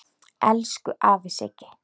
Elsku afi Siggi.